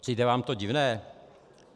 Přijde vám to divné?